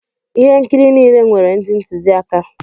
Ihe nkiri niile nwere ndị ntụziaka.